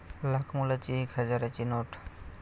लाखमोलाची 'एक हजाराची नोट'